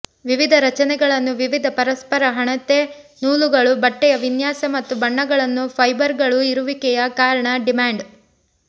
ವಿವಿಧ ರಚನೆಗಳನ್ನು ವಿವಿಧ ಪರಸ್ಪರಹೆಣೆತ ನೂಲುಗಳು ಬಟ್ಟೆಯ ವಿನ್ಯಾಸ ಮತ್ತು ಬಣ್ಣಗಳನ್ನು ಫೈಬರ್ಗಳು ಇರುವಿಕೆಯ ಕಾರಣ ಡಿಮ್ಯಾಂಡ್